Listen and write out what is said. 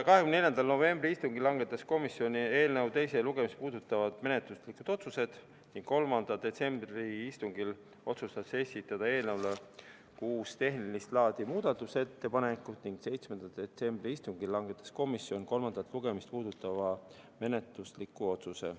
24. novembri istungil langetas komisjon eelnõu teist lugemist puudutavad menetluslikud otsused, 3. detsembri istungil otsustati esitada eelnõu kohta kuus tehnilist laadi muudatusettepanekut ning 7. detsembri istungil langetas komisjon kolmandat lugemist puudutava menetlusliku otsuse.